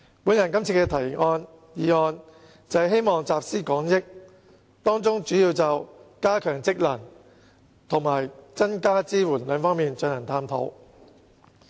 我今次提出這項議案辯論，便是希望集思廣益，當中主要會就"加強職能"和"增加支援"兩方面進行探討。